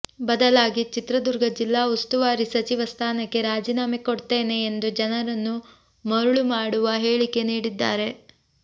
ಬದಲಾಗಿ ಚಿತ್ರದುರ್ಗ ಜಿಲ್ಲಾ ಉಸ್ತುವಾರಿ ಸಚಿವ ಸ್ಥಾನಕ್ಕೆ ರಾಜೀನಾಮೆ ಕೊಡ್ತೇನೆ ಎಂದು ಜನರನ್ನು ಮರುಳು ಮಾಡುವ ಹೇಳಿಕೆ ನೀಡಿದ್ದಾರೆ